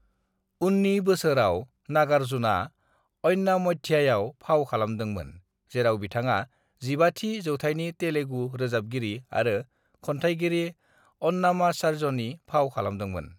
"उन्नि बोसोराव, नागार्जुनआ अन्नामय्याआव फाव खालामदोंमोन जेराव बिथाङा 15 थि जौथायनि तेलुगु रोजाबगिरि आरो खन्थायगिरि अन्नामाचार्यनि फाव खालामदोंमोन।"